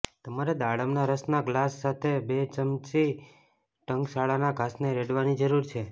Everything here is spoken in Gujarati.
તમારે દાડમના રસના ગ્લાસ સાથે બે ચમચી ટંકશાળના ઘાસને રેડવાની જરૂર છે